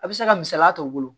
A bɛ se ka misaliya ta u bolo